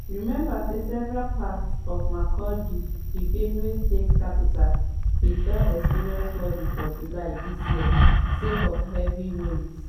remember say several parts of makurdi di benue state capital bin don experience flooding for july dis year sake of heavy rains.